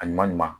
A ɲuman ɲuman